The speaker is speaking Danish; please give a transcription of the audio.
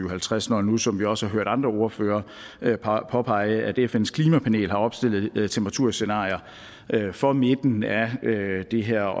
og halvtreds når nu som vi også hørt andre ordførere påpege fns klimapanel har opstillet temperaturscenarier for midten af det her